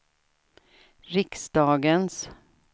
riksdagens